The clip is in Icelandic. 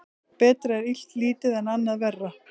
Betra er illt lítið en annað verra.